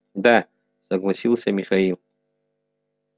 да согласился михаил